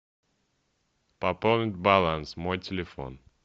пополнить баланс мой телефон